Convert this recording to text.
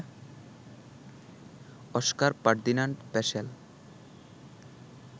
Oskar Ferdinand Peschel